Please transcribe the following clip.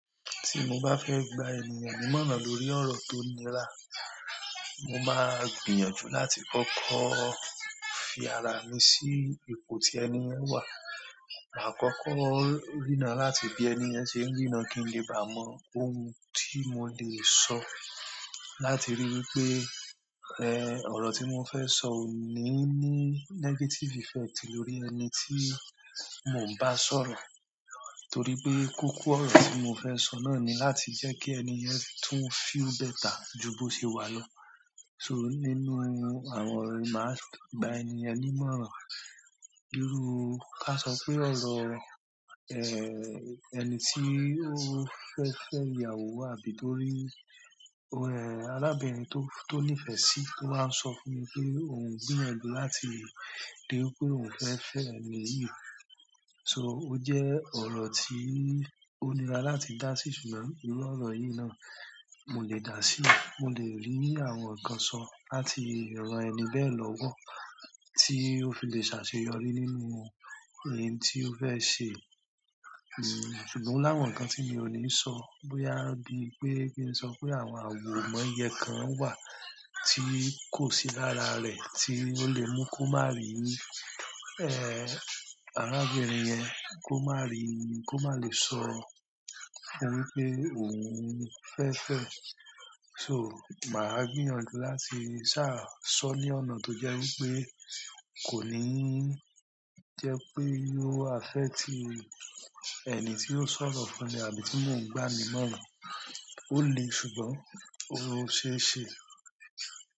Tí mo bá fẹ́ gba ènìyàn nímọ̀ràn lórí ọ̀rọ̀ tó nira, mo máa gbìyànjú láti kọ́kọ́ fi ara mi sí ipò tí ẹniyẹn wà. Màá kọ́kọ́ rína láti bí ẹniyẹn ṣe ń rína kí n le bá mọ ohun tí mo lè sọ láti rí i pé, ẹ, ọ̀rọ̀ tí mo fẹ́ sọ ò ní ní negative effect lórí ẹni tí mo ń bá sọ̀rọ̀. Torí pé koko ọ̀rọ̀ tí mo fẹ́ sọ náà ni láti jẹ́ kí ẹniyẹn tún feel better ju bó ṣe wà lọ. So nínú àwọn oro màá gbà ènìyàn nímọ̀ràn, bíru kí a sọ pé ọ̀rọ̀, ẹ, ẹni tí ó fẹ́ fẹ́ ìyàwó àbí torí, ẹ, arábìnrin tó, tó nífẹ̀ẹ́ sí tó máa ń sọ fún mi pé òun gbìyànjú láti rí i pé òun fẹ́ fẹ́ ẹni yìí. So ó jẹ́ ọ̀rọ̀ tí ó nira láti dá sí, ṣùgbọ́n nínú ọ̀rọ̀ yìí náà, mo lè dá sí i. Mo lè rí àwọn ǹkan sọ láti rán ẹni bẹ́ẹ̀ lọ́wọ́ tí ó fi lè ṣàṣeyọrí nínú ohun tí ó fẹ́ ṣe. Ẹ̀, ṣùgbọ́n o láwọn ǹkan tí mi ò ní sọ bóyá bí pé kí n sọ pé àwọn àwò moyen kan wà tí kò sí lára rẹ̀ tí ó lè mú kó má rí, ẹ, arábìnrin yẹn, kó má rí i, kó má lè sọ fún un pé òun fẹ́ fẹ́ ẹ. So màá gbìyànjú láti sá sọ ní ọ̀nà tó jẹ́ wí pé kò ní jẹ́ pé yóò affect ẹni tí ó sọ̀rọ̀ fún mi àbí tí mò ń gbá nímọ̀ràn. Ó le ṣùgbọ́n ó ṣe é ṣe.